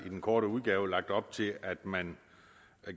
i den korte udgave lagt op til at man